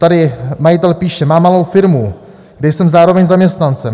Tady majitel píše: Mám malou firmu, kde jsem zároveň zaměstnancem.